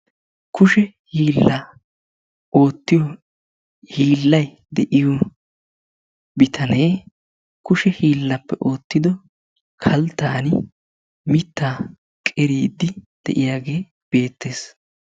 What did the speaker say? Kushe hiila ootiya hiilay diyo bitane kushe hiilaappe ootido kalttani mitaa qeriidi diyagee betees.